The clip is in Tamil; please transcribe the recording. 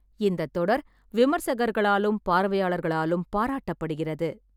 இந்தத் தொடர் விமர்சகர்களாலும், பார்வையாளர்களாலும் பாராட்டப்படுகிறது.